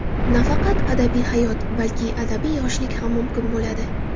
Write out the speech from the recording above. Nafaqat abadiy hayot, balki abadiy yoshlik ham mumkin bo‘ladi.